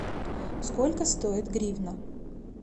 сколько стоит гривна